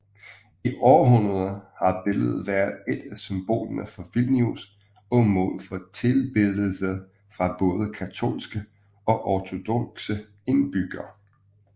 I århundreder har billedet været et af symbolerne for Vilnius og mål for tilbedelse fra både katolske og ortodokse indbyggere